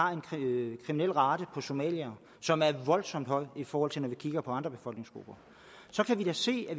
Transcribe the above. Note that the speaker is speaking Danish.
har en kriminalrate for somaliere som er voldsomt høj i forhold til når vi kigger på andre befolkningsgrupper så kan vi da se at